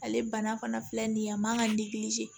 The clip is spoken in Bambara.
Ale bana fana filɛ nin ye a man kan ka